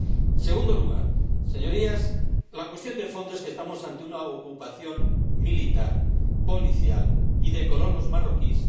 En segundo lugar, señorías, la cuestión de fondo es que estamos ante una ocupación militar, policial y de colonos marroquíes